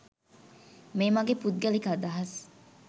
මේ මගේ පුද්ගලික අදහස්..